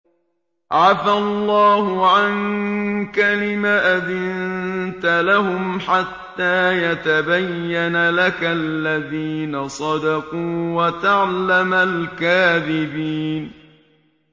عَفَا اللَّهُ عَنكَ لِمَ أَذِنتَ لَهُمْ حَتَّىٰ يَتَبَيَّنَ لَكَ الَّذِينَ صَدَقُوا وَتَعْلَمَ الْكَاذِبِينَ